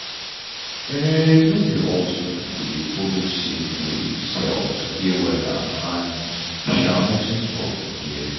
um nor be all sick people dey follow the same way um to dey wella and um nothing spoil for there.